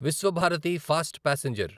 Visvabharati fast passenger